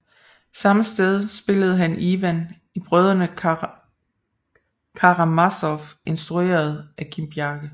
Samme sted spillede han Ivan i Brødrene Karamazov instrueret af Kim Bjarke